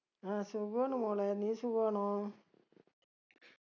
ആ സുഖാണ് മോളെ നീ സുഖാണോ